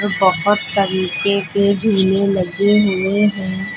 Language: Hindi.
और बोहोत तरीके से झूले लगे हुए हैं।